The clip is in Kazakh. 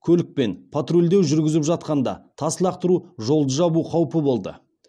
көлікпен патрульдеу жүргізіп жатқанда тас лақтыру жолды жабу қаупі болды